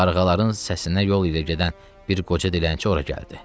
Qarğaların səsinə yol ilə gedən bir qoca dilənçi ora gəldi.